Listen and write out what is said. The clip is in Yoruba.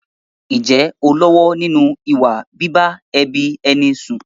Ǹjẹ́ ò ń lọ́wọ́ nínú ìwà bíbá ẹbí ẹni sùn?